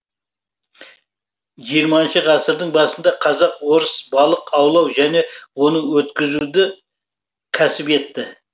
жиырмасыншы ғасырдың басында казак орыс балық аулау және оны өткізуді кәсіп етті